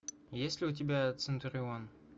есть ли у тебя центурион